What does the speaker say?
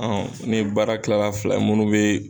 ni baara kilara fila ye munnu bɛ.